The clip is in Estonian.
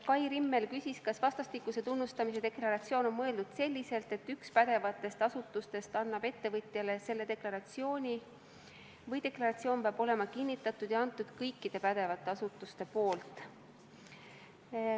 Kai Rimmel küsis, kas vastastikuse tunnustamise deklaratsioon on mõeldud selliselt, et üks pädevatest asutustest annab ettevõtjale selle deklaratsiooni, või peab deklaratsioon olema kinnitatud ja antud kõikide pädevate asutuste poolt.